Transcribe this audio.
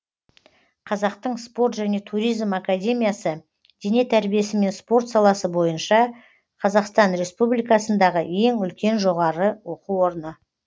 қазақтың спорт және туризм академиясы дене тәрбиесі мен спорт саласы бойынша қазақстан республикасындағы ең үлкен жоғары оқу орыны